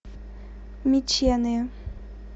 меченые